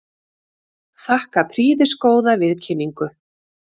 Þakka prýðisgóða viðkynningu.